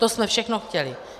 To jsme všechno chtěli.